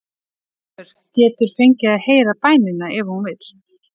Ísbjörg getur fengið að heyra bænina ef hún vill.